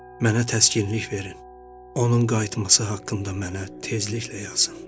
Mənə təskinlik verin, onun qayıtması haqqında mənə tezliklə yazın.